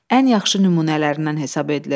Ən yaxşı nümunələrindən hesab edilir.